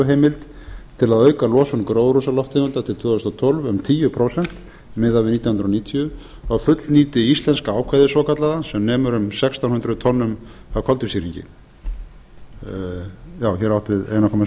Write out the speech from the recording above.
kyototheimild til að auka losun gróðurhúsalofttegunda til tvö þúsund og tólf um tíu prósent miðað við nítján hundruð níutíu þá fullnýti íslenska ákvæðið svokallaða sem nemur um sextán hundruð tonnum af koltvísýringi hér er átt við einn komma